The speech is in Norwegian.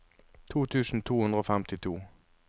to tusen to hundre og femtito